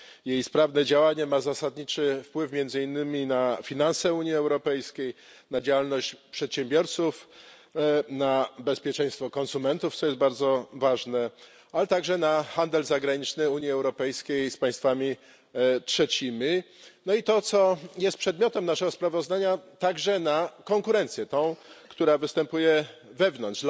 Jej sprawne działanie ma zasadniczy wpływ między innymi na finanse Unii Europejskiej, na działalność przedsiębiorców, na bezpieczeństwo konsumentów, co jest bardzo ważne, ale także na handel zagraniczny Unii Europejskiej z państwami trzecimi, no i to, co jest przedmiotem naszego sprawozdania także na konkurencję, tą, która występuje wewnątrz.